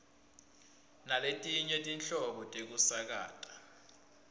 naletinye tinhlobo tekusakata